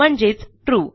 म्हणजेच ट्रू